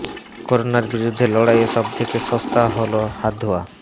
করোনার বিরুদ্ধে লড়াইয়ে সব থেকে সস্তা হল হাত ধোয়া